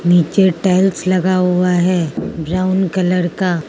नीचे टाइल्स लगा हुआ है ब्राउन कलर का।